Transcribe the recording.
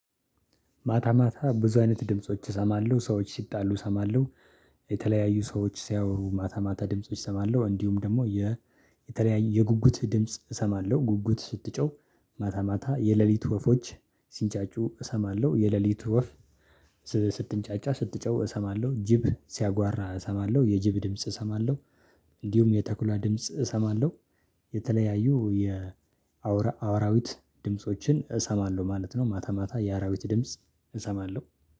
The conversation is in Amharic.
ማታ ማታ ብዙ አይነት ድምጾች እሰማለሁ ሰዎች ሲጣሉ እሰማለሁ። የተለያዩ ሰዎች ሲያወሩ ማታ ማታ ድምጾች እሰማለሁ እንዲሁም ደግሞ የተለያየ የጉጉት ድምጽ እሰማለሁ። ጉጉት ስትጮህ ማታ ማታ የሌሊቱ ወፎች ሲንጫጩ እሰማለሁ። የሌሊቱ ወፍ ስትንጫጫ ስትጮህ እሰማለሁ። ጅብ ሲያጓራ እሰማለሁ የጅብ ድምጽ እሰማለሁ። እንዲሁም የተኩላ ድምጽ እሰማለሁ። የአውራዊት ድምፆችን እሰማለሁ ማለት ነው። ማታ ማታ የአራዊት ድምጽ እሰማለሁ